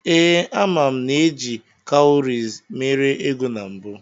Ee, ama m na eji kawuries mere ego na mbụ.